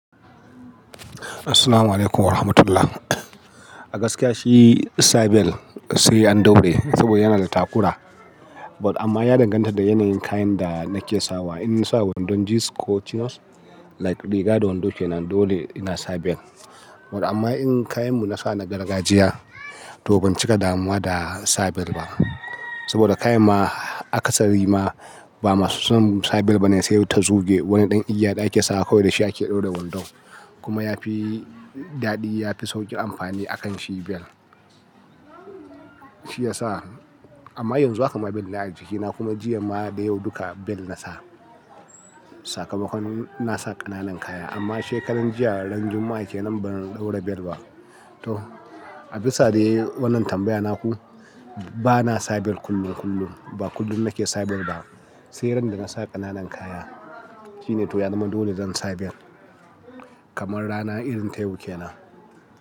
Assalamu alaikum wa rahmatullah. A gaskiya shi Sa belt sai an daure saboda yana da takura. But amma ya danganta da yanayin kayan da nake sawa. In in sawa wandon jeans ko chinos, like riga da wando kenan dole ina Sa belt. But amma in kayan mu na sawa na gargajiya to ban cika damuwa da Sa belt ba. Saboda kayan ma akasari ma ba masu sanin Sa belt ba ne sai ta zoge wani ɗan iyya da ake sawa kawai da shi ake ɗaura wando. Kuma yafi daɗi yafi sauƙin amfani akan shi belt. Shi yasa amma yanzu haka ma belt na a jikina kuma jiya ma da yau duka belt na sa. Saka makon ni ina sa ƙananan kaya. Amma shekaran jiya ran Juma'a kenan ban ɗaura belt ba. To, abin sada yi wannan tambayaya naku ba na Sa belt kullum kullum. Ba kullum nake Sabel ba. Sai ran da na sa ƙananan kaya. Shine to ya na dole zan Sa belt. Kamar rana irin tebu kenan.